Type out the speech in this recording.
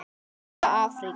Sæla Afríka!